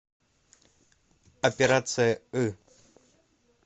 операция ы